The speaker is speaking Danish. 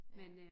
Ja